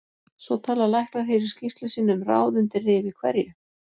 Svo tala læknar hér í skýrslu sinni um ráð undir rifi hverju